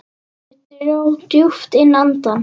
Ég dró djúpt inn andann.